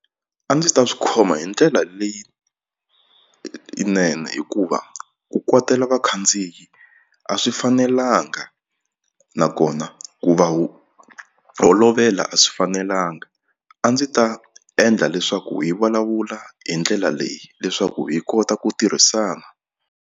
A ndzi ta swi khoma hi ndlela leyi yinene hikuva ku kwatela vakhandziyi a swi fanelanga nakona ku va holovela a swi fanelanga a ndzi ta endla leswaku hi vulavula hi ndlela leyi leswaku hi kota ku tirhisana.